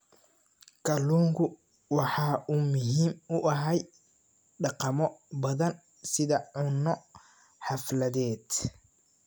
Kalluunku waxa uu muhiim u yahay dhaqamo badan sida cunno xafladeed.